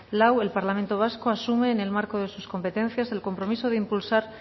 lau el parlamento vasco asume en el marco de sus competencias el compromiso de impulsar